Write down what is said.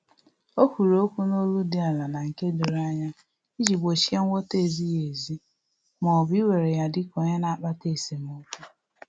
Ọ kwuru okwu n’olu dị ala na nke doro anya iji gbochie nghọta-ezighi ezi ma ọ bụ iwere ya dika onye na-akpata esemokwu